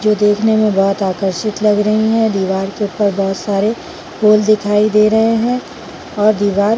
जो देखने में बोहत आकर्षित लग रहे है दीवार के ऊपर बोहत सारे फूल दिखाई दे रहे है और दीवार--